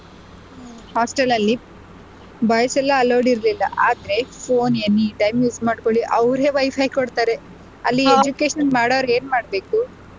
Hostel ಅಲ್ಲಿ boys ಎಲ್ಲ allowed ಇರ್ಲಿಲ್ಲ ಆದ್ರೆ phone any time use ಮಾಡ್ಕೊಳಿ ಅವರೇ WiFi ಕೊಡ್ತಾರೆ ಅಲ್ಲಿ education ಮಾಡೋರ್ ಏನ್ ಮಾಡ್ಬೇಕು.